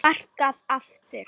Sparkað aftur.